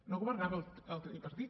no governava el tripartit